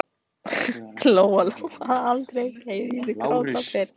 Lóa-Lóa hafði aldrei heyrt Heiðu gráta fyrr.